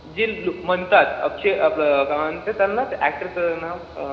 जे म्हणतात अक्षय आपलं अं काय म्हणतात त्यांना त्या actor चं नाव